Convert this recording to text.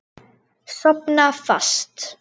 Sofna fast.